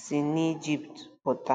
si n’Ijipt pụta.